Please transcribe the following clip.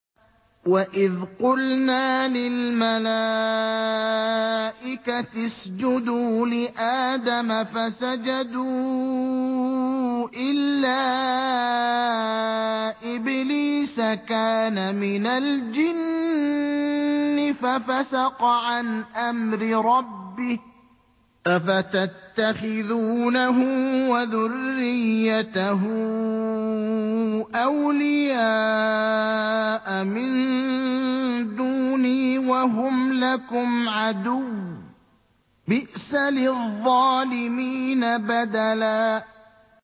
وَإِذْ قُلْنَا لِلْمَلَائِكَةِ اسْجُدُوا لِآدَمَ فَسَجَدُوا إِلَّا إِبْلِيسَ كَانَ مِنَ الْجِنِّ فَفَسَقَ عَنْ أَمْرِ رَبِّهِ ۗ أَفَتَتَّخِذُونَهُ وَذُرِّيَّتَهُ أَوْلِيَاءَ مِن دُونِي وَهُمْ لَكُمْ عَدُوٌّ ۚ بِئْسَ لِلظَّالِمِينَ بَدَلًا